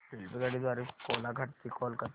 रेल्वेगाडी द्वारे कोलाघाट ते कोलकता